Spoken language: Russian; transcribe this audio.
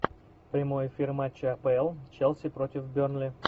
прямой эфир матча апл челси против бернли